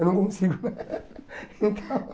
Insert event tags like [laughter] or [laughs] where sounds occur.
Eu não consigo. [laughs] Então